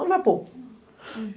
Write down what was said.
Onde vai pôr?